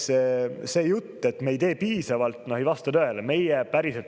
Seega, see jutt, et me ei tee piisavalt, ei vasta tõele.